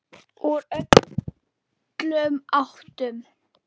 Úr öllum áttum.